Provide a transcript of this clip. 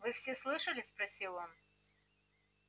вы все слышали спросил он